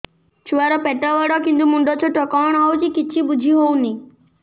ଛୁଆର ପେଟବଡ଼ କିନ୍ତୁ ମୁଣ୍ଡ ଛୋଟ କଣ ହଉଚି କିଛି ଵୁଝିହୋଉନି